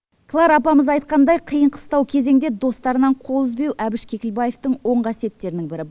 клара апамыз айтқандай қиын қыстау кезеңде достарынан қол үзбеу әбіш кекілбаевтың оң қасиеттерінің бірі